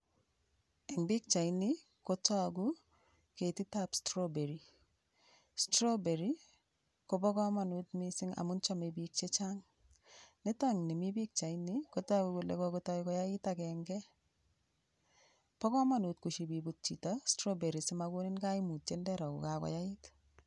Eng pichaini kotoku ketitab straberry. Straberry ko bokomanut mising amun chamei biik chechang. Nitokni mi pichaini kotoku kole kokotoi koyait agenge. Bo komonut koship iput chito straberry simakonin koimutiet ndero kole kakoyait.